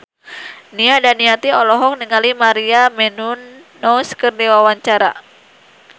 Nia Daniati olohok ningali Maria Menounos keur diwawancara